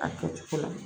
A kɛ cogo la